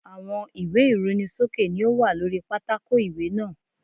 Àwọn ìwé ìrunisókè ni ó wà lóri pátákò ìwé náà.